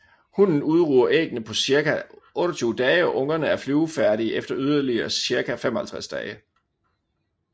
Hunnen udruger æggene på cirka 28 dage og ungerne er flyvefærdige efter yderligere cirka 55 dage